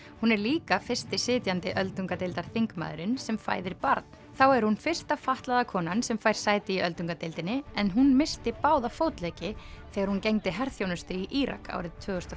hún er líka fyrsti sitjandi öldungadeildarþingmaðurinn sem fæðir barn þá er hún fyrsta fatlaða konan sem fær sæti í öldungadeildinni en hún missti báða fótleggi þegar hún gegndi herþjónustu í Írak árið tvö þúsund og